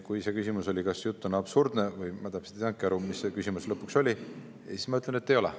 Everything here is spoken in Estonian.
Kui see küsimus oli, kas jutt on absurdne – või ma täpselt ei saanudki aru, mis see küsimus lõpuks oli –, siis ma ütlen, et ei ole.